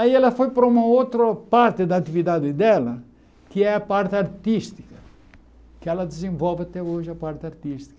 Aí ela foi para uma outra parte da atividade dela, que é a parte artística, que ela desenvolve até hoje a parte artística.